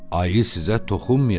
Ayı sizə toxunmayacaq.